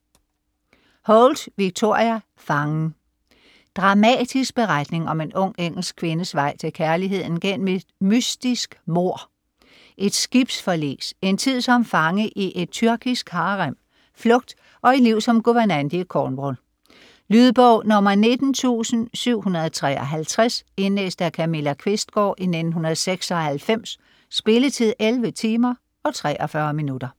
Holt, Victoria: Fangen Dramatisk beretning om en ung engelsk kvindes vej til kærligheden gennem et mystisk mord, et skibsforlis, en tid som fange i et tyrkisk harem, flugt og et liv som guvernante i Cornwall. Lydbog 19753 Indlæst af Camilla Qvistgaard, 1996. Spilletid: 11 timer, 43 minutter.